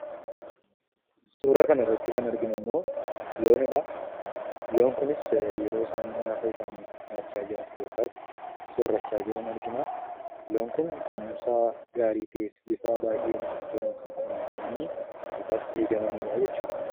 Suuraa kanarratti kan arginummoo looniidha. Loon kunis yeroo isaan nyaata isaanii nyaachaa jiran, yookaas soorrachaa jiran argina. Loon kun kunuunsa gaarii ta'een bifa baayyee namatti toluun kunuunfamanii yookaas eegamaniidha jechuudha.